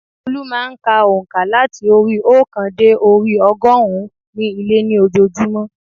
Olú má a n ka ònkà láti orí i óòkan dé orí i ogórùn ún ní ilé ní ojoojúmọ́